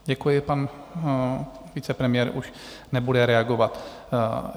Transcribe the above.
Děkuji, pan vicepremiér už nebude reagovat.